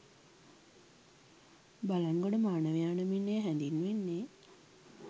බළන්ගොඩ මානවයා නමින් එය හැඳින්වෙන්නේ